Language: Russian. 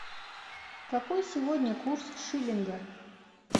какой сегодня курс шиллинга